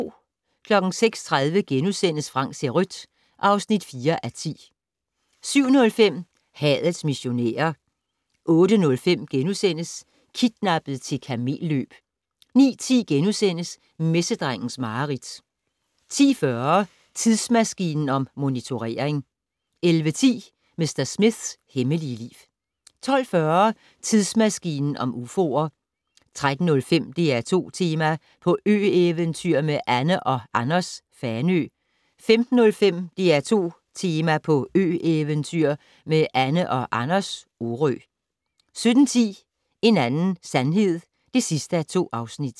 06:30: Frank ser rødt (4:10)* 07:05: Hadets missionærer 08:05: Kidnappet til kamelløb * 09:10: Messedrengens mareridt * 10:40: Tidsmaskinen om motionering 11:10: Mr. Smiths hemmelige liv 12:40: Tidsmaskinen om ufoer 13:05: DR2-Tema: På ø-eventyr med Anne & Anders - Fanø 15:05: DR2 Tema: På ø-eventyr med Anne & Anders - Orø 17:10: En anden sandhed (2:2)